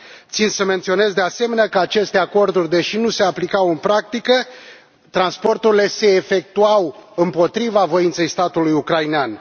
Țin să menționez de asemenea că aceste acorduri, deși nu se aplicau în practică, transporturile se efectuau împotriva voinței statului ucrainean.